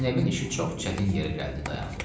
Zeynəbin işi çox çətin yerə gəldi, dayandı.